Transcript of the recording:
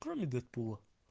кроме дэдпула